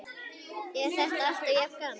Er þetta alltaf jafn gaman?